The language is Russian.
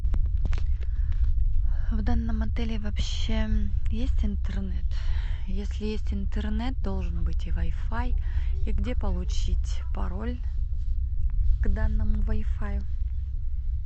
в данном отеле вообще есть интернет если есть интернет должен быть и вай фай и где получить пароль к данному вай фаю